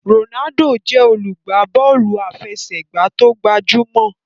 Ronaldo jé olugba Bọ́ọ̀lù àfẹsẹ̀gbá tóo gbajúmò.